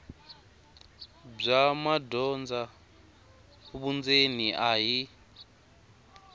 bya madyondza vundzeni a hi